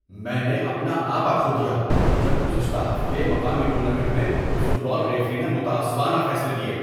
میں نے اپنا آپا کھو دیا جب گزشتہ ہفتے مقامی ٹورنامنٹ میں فٹ بال ریفری نے متعصبانہ فیصلے دیے۔